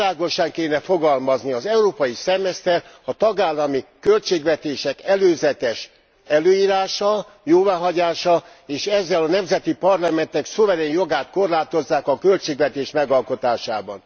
Világosan kellene fogalmazni az európai szemeszter a tagállami költségvetések előzetes előírása, jóváhagyása, és ezzel a nemzeti parlamentek szuverén jogát korlátozzák a költségvetés megalkotásában.